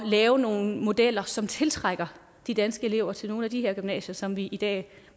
lave nogle modeller som tiltrækker de danske elever til nogle af de her gymnasier som vi i dag